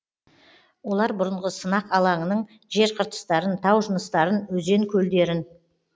олар бұрынғы сынақ алаңының жер қыртыстарын тау жыныстарын өзен көлдерін